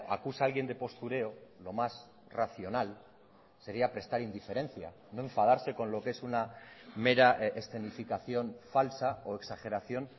acusa a alguien de postureo lo más racional sería prestar indiferencia no enfadarse con lo que es una mera escenificación falsa o exageración